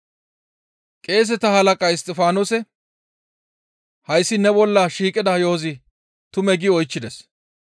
Qeeseta halaqay Isttifaanose, «Hayssi ne bolla shiiqida yo7ozi tumee?» gi oychchides.